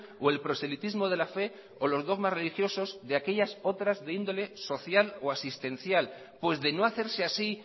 o el proselitismo de la fe o los dogmas religiosos de aquellas otras de índole social o asistencial pues de no hacerse así